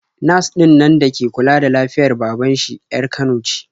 Nas ɗinnan da ke kula da lafiyar baban shi 'yar Kano ce.